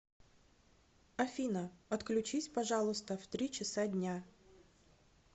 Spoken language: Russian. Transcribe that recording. афина отключись пожалуйста в три часа дня